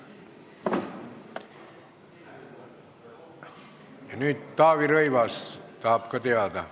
Ja nüüd tahab ka Taavi Rõivas midagi teada.